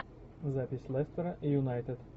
запись лестера и юнайтед